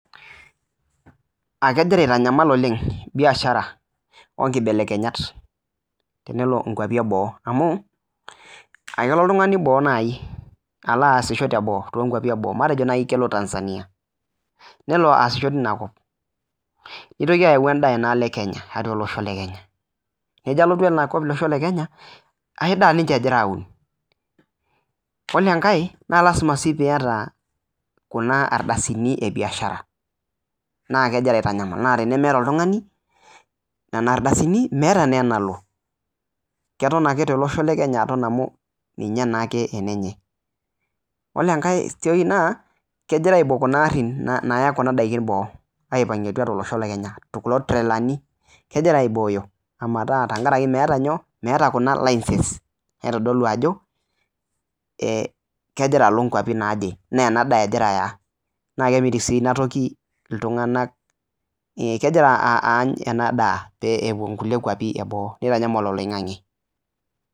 aa kegira aitanyamal oleng biashara oo nkibelekenyat tenelo nkwapii eboo amu kelo naaji oltung'ani boo alo asisho too nkwapii eboo matejo kelo najii Tanzania nelo asisho teina kop nitoki ayawu endaa olosho lang lee kenya nejo alotu olosho lee Kenya naa enkae daa egira aun ore enkae naa lasima piieyata Kuna ardasini ebiashara naa kegira aitanyamal naa tenemeta oltung'ani Nena ardasini metaa naa eneleo keton ake tolosho lee Kenya amu ninye naa ake enenye ore enkae toki naa kegira aibokie Kuna garin Kuna Naya kunadaiki olosho lee boo Kuna tralani kegira aiboyo tenkaraki meeta Kuna license naitodolu Ajo kegira aloo nkwapii naaje naa ena daa sii etaa naa kegira ena toki amitiki iltung'ana epuo nkwapii eboo nitanyamal oloingange